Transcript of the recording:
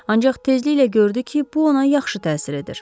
Ancaq tezliklə gördü ki, bu ona yaxşı təsir edir.